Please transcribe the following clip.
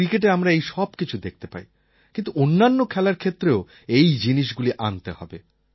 ক্রিকেটে আমরা এই সবকিছু দেখতে পাই কিন্তু অন্যান্য খেলার ক্ষেত্রেও এই জিনিসগুলি আনতে হবে